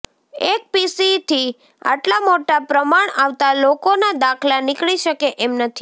એક પીસીથી આટલા મોટા પ્રમાણ આવતા લોકોના દાખલા નીકળી શકે એમ નથી